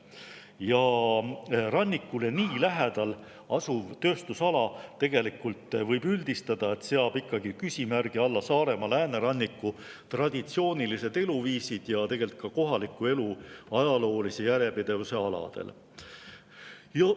Ja rannikule nii lähedal asuv tööstusala, võib üldistada, seab küsimärgi alla Saaremaa lääneranniku traditsioonilised eluviisid ja tegelikult ka kohaliku elu ajaloolise järjepidevuse aladel.